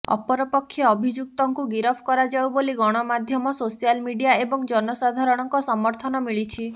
ଅପରପକ୍ଷେ ଅଭିଯୁକ୍ତଙ୍କୁ ଗିରଫ କରାଯାଉ ବୋଲି ଗଣମାଧ୍ୟମ ସୋସିଆଲ୍ ମିଡିଆ ଏବଂ ଜନସାଧାରଣଙ୍କ ସମର୍ଥନ ମିଳିଛି